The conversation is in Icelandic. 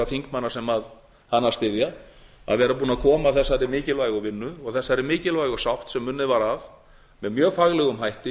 þingmanna sem hana styðja að vera búin að koma þessari mikilvægu vinnu og þessari mikilvægu sátt sem unnið var að með mjög faglegum hætti